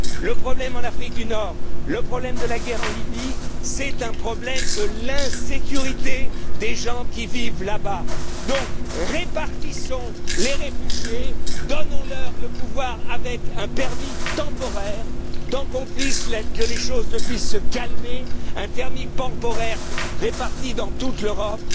Le problème en Afrique du Nord, le problème de la guerre en Libye posent le problème de l'insécurité des gens qui vivent là bas. Donc, répartissons les réfugiés, donnons leur le pouvoir avec un permis temporaire le temps que les choses puissent se calmer, un permis temporaire réparti dans toute l'Europe.